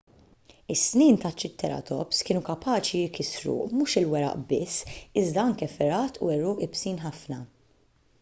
is-snien tat-triċeratops kienu kapaċi jkissru mhux il-weraq biss iżda anke fergħat u għeruq iebsin ħafna